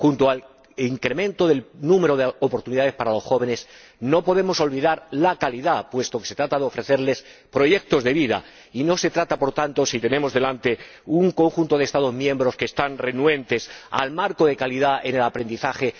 Junto al incremento del número de oportunidades para los jóvenes no podemos olvidar la calidad, puesto que se trata de ofrecerles proyectos de vida, y lo que tenemos delante es un conjunto de Estados miembros que son renuentes al marco de calidad en el aprendizaje.